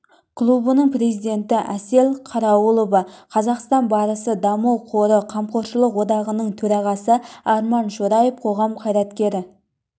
клубының президенті әсел қарауылова қазақстан барысы даму қоры қамқоршылық одағының төрағасы арман шораев қоғам қайраткері